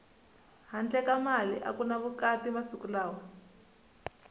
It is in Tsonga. handle ka mali aku ni vukati masiku lawa